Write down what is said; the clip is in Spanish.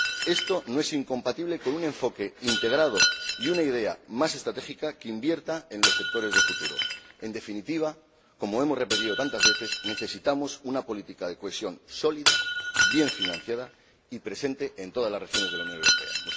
Esto no es incompatible con un enfoque integrado y con una idea más estratégica, que invierta en los sectores de futuro. En definitiva, como hemos repetido tantas veces, necesitamos una política de cohesión sólida, bien financiada y presente en todas las regiones de la Unión Europea.